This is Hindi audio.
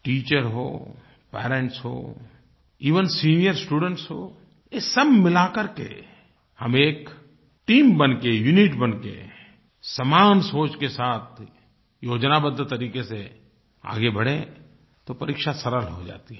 टीचर हो पेरेंट्स हों एवेन सीनियर स्टूडेंट्स हों ये सब मिला करके हम एक टीम बनके यूनिट बनके समान सोच के साथ योजनाबद्ध तरीक़े से आगे बढ़ें तो परीक्षा सरल हो जाती है